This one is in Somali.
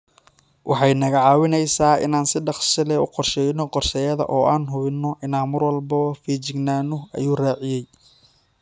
Waxay naga caawinaysaa inaan si dhakhso leh u qorshayno qorshayaashayada oo aan hubinno inaan mar walba feejignaano, ayuu raaciyay.